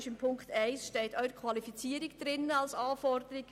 Dies hat die Sprecherin der Kommissionsminderheit erwähnt.